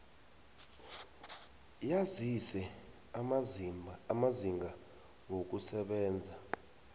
yazise amazinga wokusebenza